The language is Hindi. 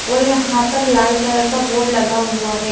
और यहां पर लाल कलर का बोर्ड लगा हुआ हैं।